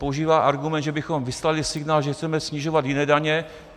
Používá argument, že bychom vyslali signál, že chceme snižovat jiné daně.